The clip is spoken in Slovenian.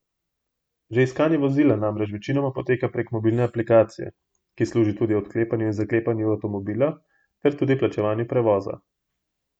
Že iskanje vozila namreč večinoma poteka prek mobilne aplikacije, ki služi tudi odklepanju in zaklepanju avtomobila ter tudi plačevanju prevoza.